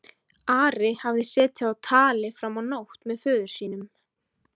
Ari hafði setið á tali fram á nótt með föður sínum.